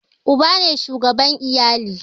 Uba ne shugaban iyali